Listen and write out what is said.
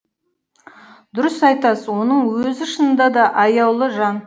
дұрыс айтасыз оның өзі шынында да аяулы жан